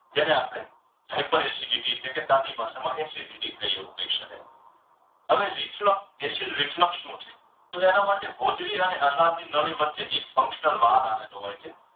જેને આપણે high per acidity એટલે કે સાદી ભાષામાં acidity થઈ એવું કહી શકાય. હવે reflect acid reflux શું છે? તો એના માટે હોજરી અને અનાવની નળી વચ્ચે એક functional valve આવેલો હોય છે.